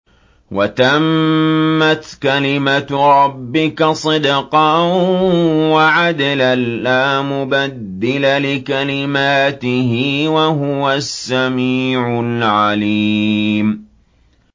وَتَمَّتْ كَلِمَتُ رَبِّكَ صِدْقًا وَعَدْلًا ۚ لَّا مُبَدِّلَ لِكَلِمَاتِهِ ۚ وَهُوَ السَّمِيعُ الْعَلِيمُ